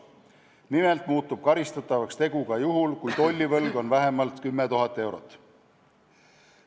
Nimelt muutub nüüd karistatavaks ka selline tegu, mille korral on tollivõlg vähemalt 10 000 eurot.